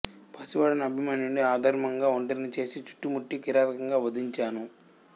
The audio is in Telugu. పసి వాడైన అభిమన్యుడిని అధర్మంగా ఒంటరిని చేసి చుట్టుముట్టి కిరాతకంగా వధించాను